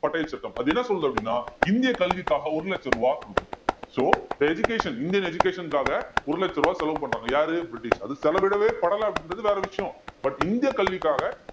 பட்டைய சட்டம் அது என்ன சொல்லுது அப்படின்னா இந்திய கல்விக்காக ஒரு லட்ச ரூபாய் கொடுக்குது so இப்ப education இந்தியன் education க்காக ஒரு லட்சம் ரூபாய் செலவு பண்றாங்க யாரு பிரிட்டிஷ் அது செலவிடவேபடலை அப்படின்றது வேற விஷயம் but இந்திய கல்விக்காக